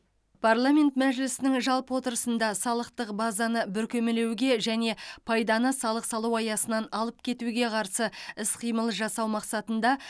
парламент мәжілісінің жалпы отырысында салықтық базаны бүркемелеуге және пайданы салық салу аясынан алып кетуге қарсы іс қимыл жасау мақсатында